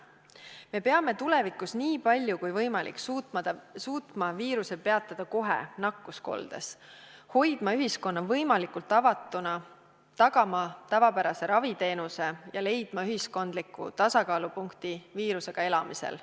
Me peame tulevikus nii palju kui võimalik suutma viiruse peatada kohe nakkuskoldes, hoidma ühiskonna võimalikult avatuna, tagama tavapärase raviteenuse ja leidma ühiskondliku tasakaalupunkti viirusega elamisel.